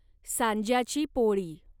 सांज्याची पोळी